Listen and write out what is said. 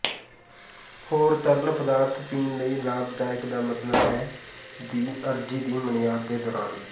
ਹੋਰ ਤਰਲ ਪਦਾਰਥ ਪੀਣ ਲਈ ਲਾਭਦਾਇਕ ਦਾ ਮਤਲਬ ਹੈ ਦੀ ਅਰਜ਼ੀ ਦੀ ਮਿਆਦ ਦੇ ਦੌਰਾਨ